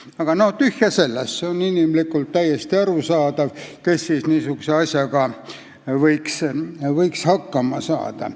Aga tühja sellest, see on inimlikult täiesti arusaadav, kes siis niisuguse asjaga võikski hakkama saada.